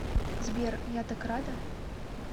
сбер я так рада